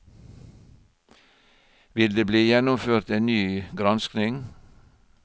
Vil det bli gjennomført en ny granskning?